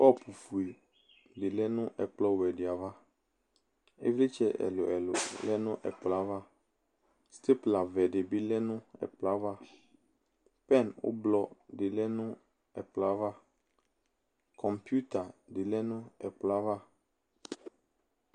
Kɔpufue de lɛ ɛkplɔwɛ de ava evlersɛ ɛluɛlu lɛ no ɛkolɔ avaSteplawɛ de be lɛ no ɛkplɔ avaPɛn ublɔ de lɛ no ɛkplɔ avaKɔmpiuta de lɛ no ɛkplɔ ava